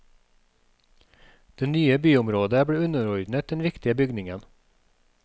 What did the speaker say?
Det nye byområdet ble underordnet den viktige bygningen.